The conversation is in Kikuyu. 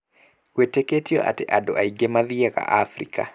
Gwĩtĩkĩtio atĩ andũ aingĩ mathiaga Afrika.